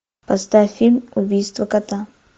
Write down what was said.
поставь фильм убийство кота